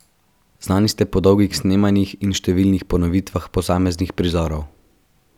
Znani ste po dolgih snemanjih in številnih ponovitvah posameznih prizorov.